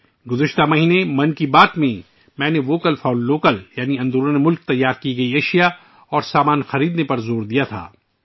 پچھلے مہینے ' من کی بات ' میں میں نے ' ووکل فار لوکل' یعنی مقامی مصنوعات خریدنے پر زور دیا تھا